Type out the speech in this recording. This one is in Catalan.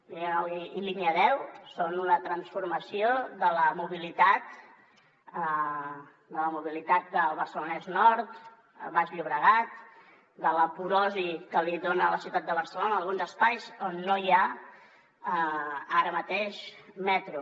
línia nou i línia deu són una transformació de la mobilitat del barcelonès nord baix llobregat de la porosi que li dona a la ciutat de barcelona en alguns espais on no hi ha ara mateix metro